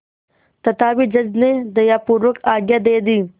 तथापि जज ने दयापूर्वक आज्ञा दे दी